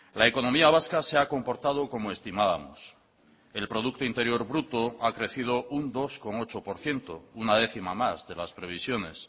la economía vasca se ha comportado como estimábamos el producto interior bruto ha crecido un dos coma ocho por ciento una décima más de las previsiones